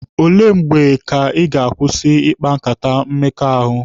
Ole mgbe Ị ga-akwụsị ikpa nkata mmekọahụ?